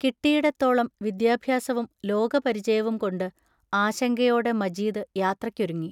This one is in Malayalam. കിട്ടിയിടത്തോളം വിദ്യാഭ്യാസവും ലോകപരിചയവും കൊണ്ട് ആശങ്കയോടെ മജീദ് യാത്രയ്ക്കൊരുങ്ങി.